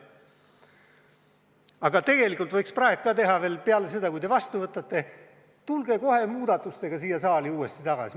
Aga tegelikult võiks praegu ka teha veel seda, et peale seda, kui te selle vastu võtate, tulge kohe muudatustega siia saali uuesti tagasi.